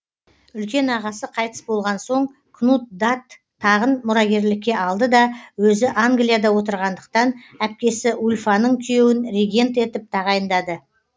үлкен ағасы қайтыс болған соң кнуд дат тағын мұрагерлікке алды да өзі англияда отырғандықтан әпкесі ульфаның күйеуін регент етіп тағайындады